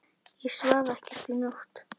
Ég svaf ekkert í nótt.